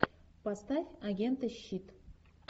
поставь агенты щит